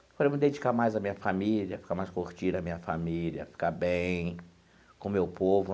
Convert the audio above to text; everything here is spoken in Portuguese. Falei, vou me dedicar mais à minha família, ficar mais curtindo a minha família, ficar bem com o meu povo.